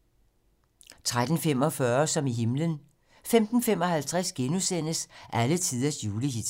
* 13:45: Som i himlen 15:55: Alletiders julehits *